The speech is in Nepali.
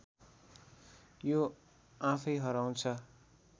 यो आफैँ हराउँछ